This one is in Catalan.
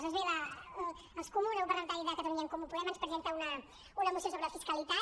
doncs bé els comuns el grup parlamentari de catalunya en comú podem ens presenta una moció sobre fiscalitat